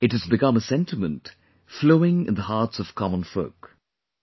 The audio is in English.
Today it has become a sentiment, flowing in the hearts of common folk